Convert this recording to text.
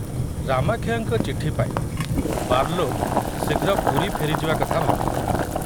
ରାମାକ୍ଷୟଙ୍କ ଚିଠି ପାଇ ବାର୍ଲୋ ଶୀଘ୍ର ପୁରୀ ଫେରିଯିବା କଥା ଭାବିଲେ।